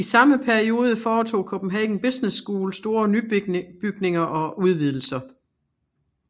I samme periode foretog Copenhagen Business School store nybygninger og udvidelser